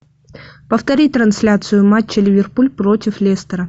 повтори трансляцию матча ливерпуль против лестера